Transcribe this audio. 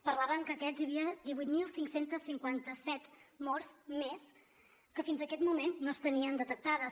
parlaven que hi havia divuit mil cinc cents i cinquanta set morts més que fins aquest moment no es tenien detectades